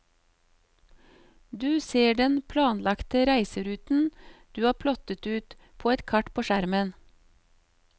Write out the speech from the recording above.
Du ser den planlagte reiseruten, du har plottet ut, på et kart på skjermen.